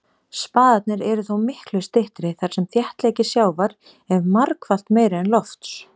Spaðarnir eru þó miklu styttri þar sem þéttleiki sjávar er margfalt meiri en lofts.